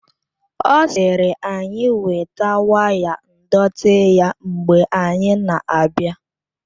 Ọ sịrị anyị weta waya ndọtị ya mgbe anyị na-abịa